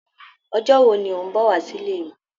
Ọjọ́ wo ní o n bọ wá sile mí?